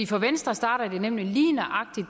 for venstre starter det nemlig lige nøjagtig